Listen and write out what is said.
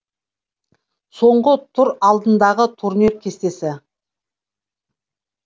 соңғы тур алдындағы турнир кестесі